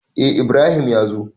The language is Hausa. Eh Ibrahim ya zo.